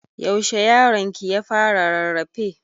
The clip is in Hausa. Yaushe yaronki ya fara rarrafe?